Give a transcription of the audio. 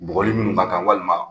Bɔgɔli munnu b'a kan walima